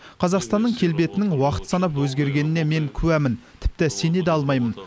қазақстанның келбетінің уақыт санап өзгергеніне мен куәмін тіпті сене де алмаймын